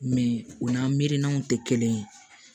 Mɛ u n'a miiriyanw tɛ kelen ye